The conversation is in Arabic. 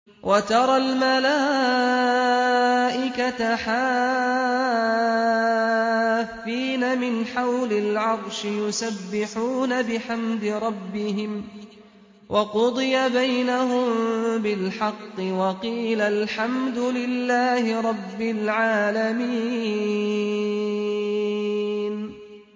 وَتَرَى الْمَلَائِكَةَ حَافِّينَ مِنْ حَوْلِ الْعَرْشِ يُسَبِّحُونَ بِحَمْدِ رَبِّهِمْ ۖ وَقُضِيَ بَيْنَهُم بِالْحَقِّ وَقِيلَ الْحَمْدُ لِلَّهِ رَبِّ الْعَالَمِينَ